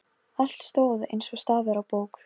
Þegar hann hélt þaðan virtist hann sjálfum sér líkastur.